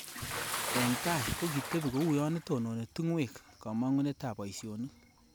Eng tai kokitebi kouyo itononi tungwek kamongunetab boisionik